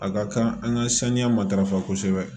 A ka kan an ka saniya matarafa kosɛbɛ